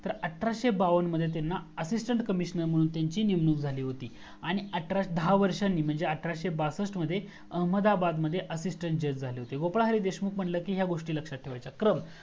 तर अठराशे बावन्न मध्ये त्यांना assistant commissionar मनहून नेमणूक झाली होती आणि दहा वर्षानी अठराशे बासस्ट मध्ये अहमदाबाद मध्ये assistant जज झाले होते गोपाल हरी देशमुख म्हणजे ह्या गोस्टी लक्ष्यात ठेवायच्या क्रम